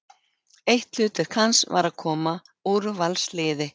Eitt hlutverk hans var að koma úrvalsliði